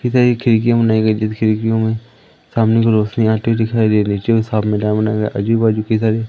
इधर एक खिड़कियां बनाई गई खिड़कियों में सामने की रोशनी आती दिखाई दे रही आजू बाजू कई सारे--